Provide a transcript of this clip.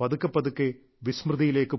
പതുക്കെ പതുക്കെ വിസ്മൃതിയിലേക്ക് പോയി